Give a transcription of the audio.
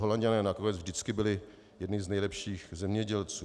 Holanďané nakonec vždycky byli jedni z nejlepších zemědělců.